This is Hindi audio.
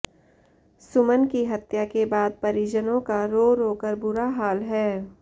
सुमन की हत्या के बाद परिजनों का रो रो कर बुरा हाल है